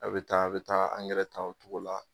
A' bɛ taa a' bɛ taa angɛrɛ ta o togo la